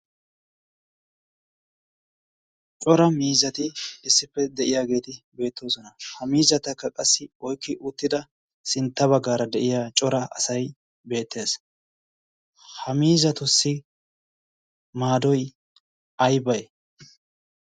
cora miizati issippe de'iyaageeti beettoosona ha miizatakka qassi oikki uttida sintta baggaara de'iya cora asai beettees. ha miizatussi maadoi ay bai?